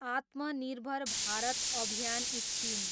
आत्मनिर्भर भारत अभियान स्किम